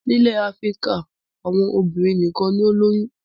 Nílẹ̀ Áfíríkà àwọn obìnrin nìkan ni ó ń lóyún.